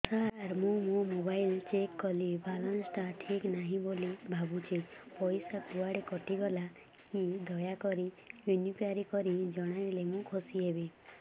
ସାର ମୁଁ ମୋର mobile check କଲି ବାଲାନ୍ସ ଟା ଠିକ ନାହିଁ ବୋଲି ଭାବୁଛି ପଇସା କୁଆଡେ କଟି ଗଲା କି ଦୟାକରି ଇନକ୍ୱାରି କରି ଜଣାଇଲେ ମୁଁ ଖୁସି ହେବି